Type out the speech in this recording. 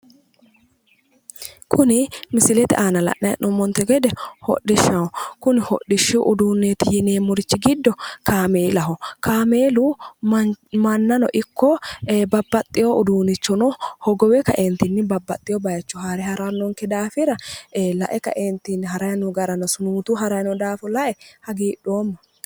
Kuni misilete aana la'nayi hee'noommonte gede hodhishshaho. Kuni hodhishshu uduunneeti yineemmori giddo kaameelaho. Kaameelu mannano ikko babbaxxiwo uduunnichono hogowe kaeentinni babbaxxiwo bat haare harannonke daafira lae kaeentinni harayi noo gara sunuutuyi harayi no daafo lae hagiidhoomma.